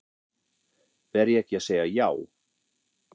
Verð ég ekki að segja já?